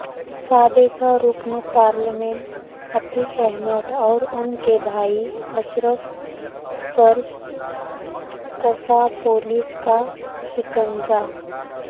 سابق رکن پارلیمنٹ عتیق احمد اور ان کے بھائی اشرف پرکسا پولیس کا شکنجہ